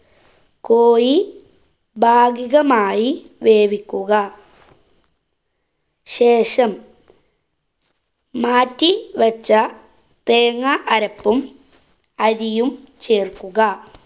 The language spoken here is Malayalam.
കോഴി ഭാഗിഗമായി വേവിക്കുക. ശേഷം മാറ്റി വച്ച തേങ്ങ അരപ്പും അരിയും ചേര്‍ക്കുക.